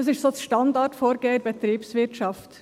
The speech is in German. Das ist das Standardvorgehen in der Betriebswirtschaft.